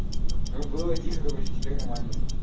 было тихо короче теперь нормально